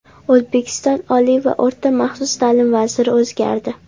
O‘zbekiston oliy va o‘rta maxsus ta’lim vaziri o‘zgardi.